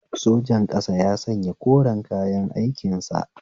Sojan ƙasa ya sanya koren kayan aikin sa